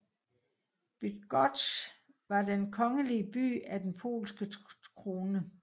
Bydgoszcz var den kongelige by af den polske krone